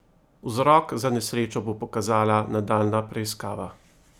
Vzrok za nesrečo bo pokazala nadaljnja preiskava.